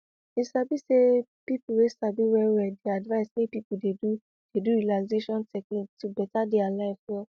you sabi say people wey sabi well well dey advise make people dey do dey do relaxation technique to beta their life well